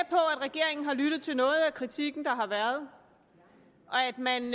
regeringen har lyttet til noget af kritikken der har været og at man